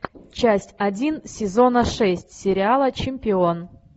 часть один сезона шесть сериала чемпион